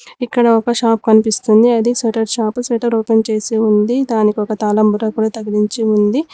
ఇక్కడ ఒక షాప్ కనిపిస్తుంది అది షట్టర్ షాపు షట్టర్ ఓపెన్ చేసి ఉంది దానికి ఒక తాళం కూడా తగిలించి ఉంది.